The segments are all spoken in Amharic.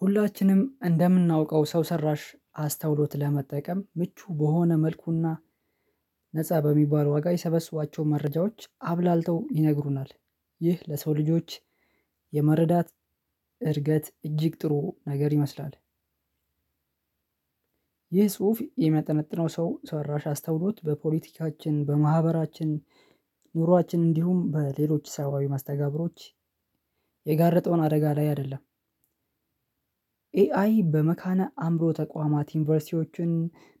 ሁላችንም እንደምናውቀው ሰው ሰራሽ አስተውሎት ለመጠቀም ምቹ በሆነ መልኩና ነፃ በሚባለው ዋጋ የሰበስቧቸው መረጃዎች አብላልተው ይነግሩናል ይህ ለሰው ልጆች የመረዳት እድገት እጅግ ጥሩ ነገር ይመስላል። ይህ ጽሁፍ የሚያጠነጥነው ሰው ሰራሽ አስተውሎት በፖለቲካችን በማህበራችን ኑሯችን እንዲሁም በሌሎች ሳባዊ ማስተጋብሮች የጋረጠውን አደጋ ላይ አይደለም። ኤአይ በመካነ አእምሮ ተቋማት ዩኒቨርሲቲዎችን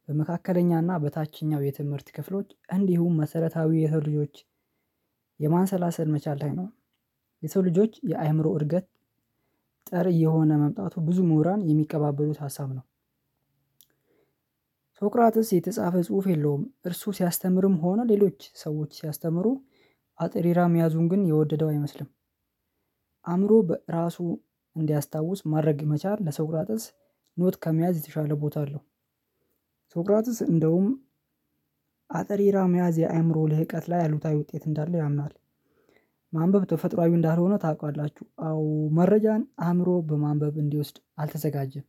በመካከለኛና በታችኛው የትምህርት ክፍሎች እንዲሁም መሰረታዊ የሰው ልጆች የማንሰላሰል መቻል አይኖርም። የሰው ልጆች የአእምሮ እርገት ጥሪ የሆነ መምጣቱ ብዙ ምሁራን የሚቀባበሉት ሀሳብ ነው። ሶቅራጥስ የተጻፈ ጽሁፍ የለውም እርሱ ሲያስተምርም ሆነ ሌሎች ሰዎች ሲያስተምሩ አጥሪራ መያዙን ግን የወደደው አይመስልም። አእምሮ በራሱ እንዲያስታውስ ማድረግ መቻል ለሶቅራጥስ ኖት ከመያዝ የተሻለ ቦታ አለው። ሶቅራጥስ እንደውም አጠራር መያዝ የአእምሮ ለህቀት ላይ አሉታዊ ውጤት እንዳለ ያምናል። ማንበብ ተፈጥሮአዊ እንዳልሆነ ታውቃላችሁ? አዎ መረጃን አእምሮ በማንበብ እንዲወስድ አልተዘጋጀም።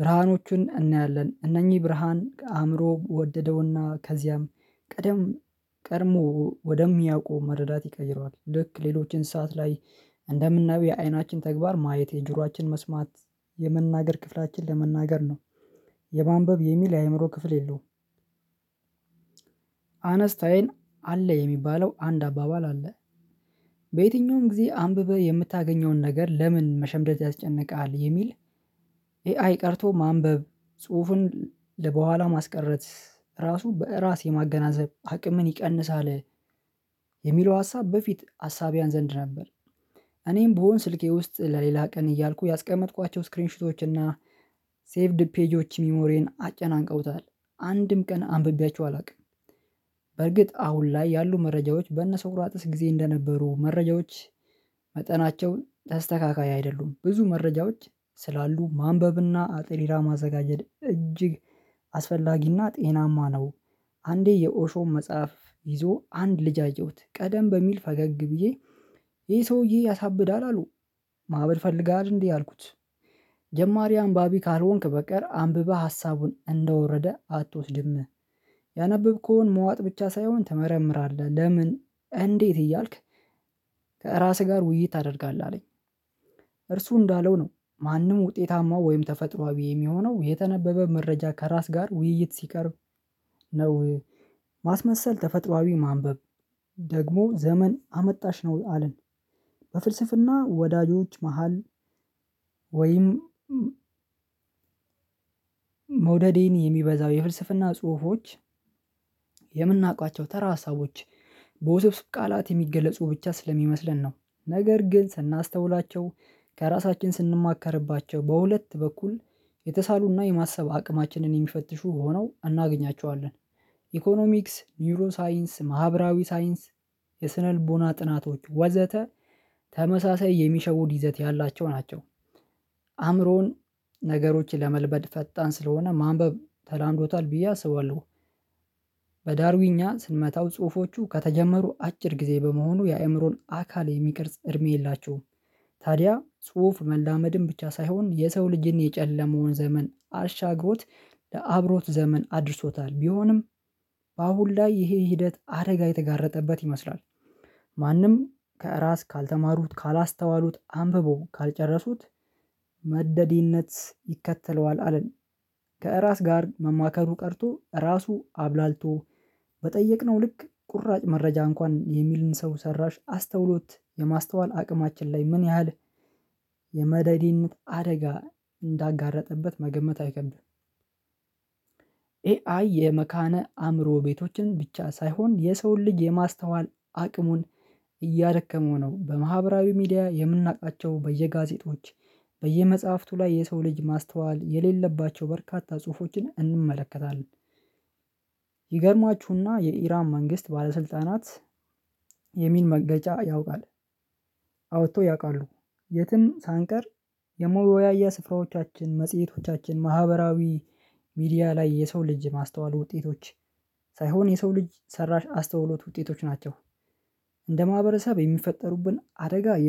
ብርሃኖቹን እናያለን እነኚህ ብርሃን ከአእምሮው ወደደውና ከዚያም ቀድሞ ወደሚያውቁ መረዳት ይቀይረዋል ልክ ሌሎችን ሰዓት ላይ እንደምናውቅ የዓይናችን ተግባር ማየት የጆሮአችን መስማት የመናገር ክፍላችን ለመናገር ነው። የማንበብ የሚል የአእምሮ ክፍል የለውም። አነስታዬን አለ የሚባለው አንድ አባባል አለ። በየትኛውም ጊዜ አንብበህ የምታገኘውን ነገር ለምን መሸምደድ ያስጨንቃል የሚል? ኤአይ ቀርቶ ማንበብ ጽሁፉን ለበኋላ ማስቀረት ራሱ በራስ የማገናዘብ አቅምን ይቀንሳል። የሚለው ሀሳብ በፊት ሀሳብያን ዘንድ ነበር። እኔም ብሆን ስልኬ ውስጥ ለሌላ ቀን እያልኩ ያስቀመጥኳቸው ስክሪን ሺቶች እና ሴቭድ ፔጆች ሚሞሪን አጨናንቀውታል። አንድም ቀን አንብቤያችሁ አላውቅም። በርግጥ አሁን ላይ ያሉ መረጃዎች በነሶቅራጥስ ጊዜ እንደነበሩ መረጃዎች። መጠናቸውን ተስተካካይ አይደሉም ብዙ መረጃዎች ስላሉ ማንበብና አጥሪራ ማዘጋጀት እጅግ አስፈላጊና ጤናማ ነው። አንዴ የኦሾም መጽሐፍ ይዞ አንድ ልጅ አየሁት ቀደም በሚል ፈገግ ብዬ ይሄ ሰውዬ ያሳብዳል አሉ። ማዕበል ፈልጋል እንዲህ አልኩት። ጀማሪ አንባቢ ካልሆንክ በቀር አንብበህ ሀሳቡን እንደወረደ አትወስድም። ያነበብከውን መዋጥ ብቻ ሳይሆን ትመረምራለህ ለምን እንዴት እያልክ ከራስህ ጋር ውይይት ታደርጋለህ አለኝ። እርሱ እንዳለው ነው ማንም ውጤታማው ወይም ተፈጥሮአዊ የሚሆነው የተነበበ መረጃ ከራስ ጋር ውይይት ሲቀርብ ነው። ማስመሰል ተፈጥሮአዊ ማንበብ ደግሞ ዘመን አመጣሽ ነው አለን። በፍልስፍና ወዳጆች መሃል ወይም? መውደዴን የሚበዛው የፍልስፍና ጽሁፎች የምናውቃቸው ተራ ሀሳቦች በውስብስብ ቃላት የሚገለጹ ብቻ ስለሚመስለን ነው። ነገር ግን ስናስተውላቸው ከራሳችን ስንማከርባቸው በሁለት በኩል የተሳሉና የማሰብ አቅማችንን የሚፈትሹ ሆነው እናገኛቸዋለን። ኢኮኖሚክስ ኒውሮ ሳይንስ ማህበራዊ ሳይንስ የስነ ልቦና ጥናቶች ወዘተ ተመሳሳይ የሚሸውድ ይዘት ያላቸው ናቸው። አእምሮን ነገሮችን ለመልበድ ፈጣን ስለሆነ ማንበብ ተላምዶታል ብዬ አስባለሁ። በዳርዊኛ ስንመታው ጽሁፎቹ ከተጀመሩ አጭር ጊዜ በመሆኑ የአእምሮን አካል የሚቀርጽ እድሜ የላችሁም። ታዲያ ጽሁፍ መላመድም ብቻ ሳይሆን የሰው ልጅን የጨለማውን ዘመን አሻግሮት ለአብሮት ዘመን አድርሶታል ቢሆንም በአሁን ላይ ይሄ ሂደት አደጋ የተጋረጠበት ይመስላል። ማንም ከራስ ካልተማሩት ካላስተዋሉት አንብበው ካልጨረሱት መደዲነት ይከተለዋል አለን። ከራስ ጋር መማከሩ ቀርቶ ራሱ አብላልቶ በጠየቅነው ልክ ቁራጭ መረጃ እንኳን የሚልን ሰው ሰራሽ አስተውሎት የማስተዋል አቅማችን ላይ ምን ያህል የመደዲነት አደጋ እንዳጋረጠበት መገመት አይከብድም። ኤአይ የመካነ አእምሮ ቤቶችን ብቻ ሳይሆን የሰውን ልጅ የማስተዋል አቅሙን እያደከመው ነው። በማህበራዊ ሚዲያ የምናውቃቸው በየጋዜጦች በየመጽሐፍቱ ላይ የሰው ልጅ ማስተዋል የሌለባቸው በርካታ ጽሁፎችን እንመለከታለን። ይገርማችሁና የኢራም መንግስት ባለስልጣናት የሚል መገጫ ያውቃል። አውጥቶ ያውቃሉ። የትም ሳንቀር የመወያያ ስፍራዎቻችን መጽሄቶቻችን ማህበራዊ ሚዲያ ላይ የሰው ልጅ ማስተዋል ውጤቶች ሳይሆን የሰው ልጅ ሰራሽ አስተውሎት ውጤቶች ናቸው። እንደ ማህበረሰብ የሚፈጠሩብን አደጋ